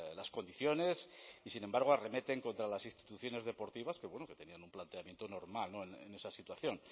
las condiciones y sin embargo arremeten contra las instituciones deportivas que tenían un planteamiento normal en esa situación